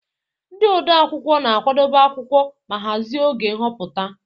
Ndị odeakwụkwọ na-akwadebe akwụkwọ ma hazie oge nhọpụta.